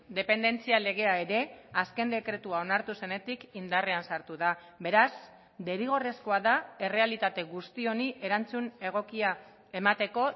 dependentzia legea ere azken dekretua onartu zenetik indarrean sartu da beraz derrigorrezkoa da errealitate guzti honi erantzun egokia emateko